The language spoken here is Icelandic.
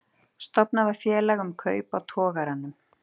Stofnað var félag um kaup á togaranum